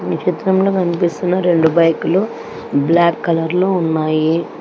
ఈ చిత్రంలో కనిపిస్తున్న రెండు బైకులు బ్లాక్ కలర్ లో ఉన్నాయి.